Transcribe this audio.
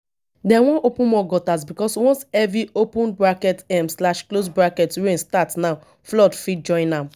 dem wan open more gutters because once heavy um rain start now flood fit join am